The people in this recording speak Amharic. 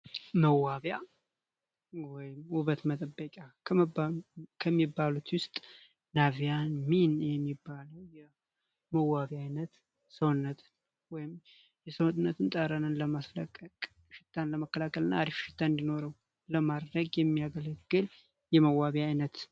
ውበት መጠበቅ ከሚባሉት ውስጥ አይነት ሰውነቱን ለማስረቀቅ ለመከላከልና እንዲኖረው ለማድረግ የሚያገለግል የመዋቢያ አይነት